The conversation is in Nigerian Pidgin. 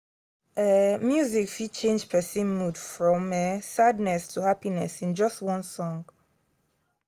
um music fit change person mood from um sadness to happiness in just one song.